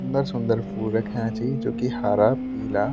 सुन्दर-सुन्दर फूल रख्याँ छि जुकी हारा पीला --